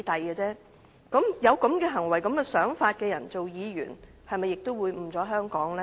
有這種行為和想法的人擔任議員，是否也會誤了香港呢？